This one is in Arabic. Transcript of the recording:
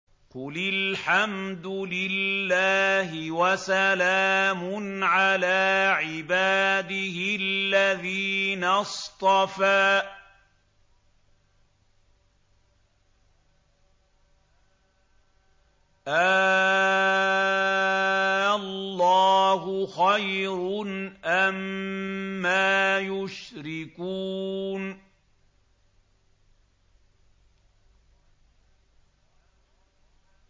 قُلِ الْحَمْدُ لِلَّهِ وَسَلَامٌ عَلَىٰ عِبَادِهِ الَّذِينَ اصْطَفَىٰ ۗ آللَّهُ خَيْرٌ أَمَّا يُشْرِكُونَ